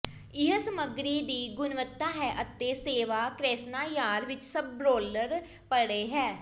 ਇਹ ਸਮਗਰੀ ਦੀ ਗੁਣਵੱਤਾ ਹੈ ਅਤੇ ਸੇਵਾ ਕ੍ਰੈਸ੍ਨਾਯਾਰ ਵਿੱਚ ਸਭ ਰੋਲਰ ਪਰੇ ਹੈ